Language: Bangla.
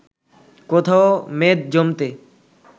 কোথাও মেদ জমতে